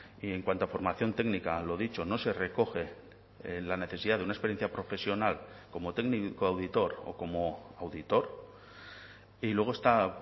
y en cuanto a formación técnica lo dicho no se recoge la necesidad de una experiencia profesional como técnico auditor o como auditor y luego está